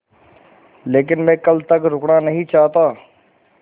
लेकिन मैं कल तक रुकना नहीं चाहता